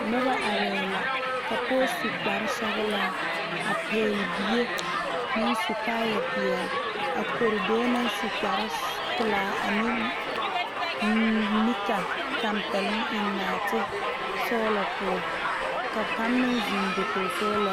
Noba are la ka pɔge su kpare sɔglaa a pegle bie naŋ su kaaya peɛle a kore dɔɔ naŋ su kpare sɔ pelaa ane neka tanpɛloŋ eŋ naate sɔglɔ poɔ ka kaŋ meŋ zeŋ dakogi sɔglaa zu.